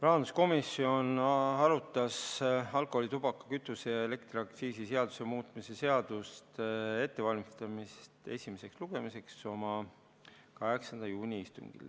Rahanduskomisjon valmistas alkoholi-, tubaka-, kütuse- ja elektriaktsiisi seaduse muutmise seaduse eelnõu esimeseks lugemiseks ette oma 8. juuni istungil.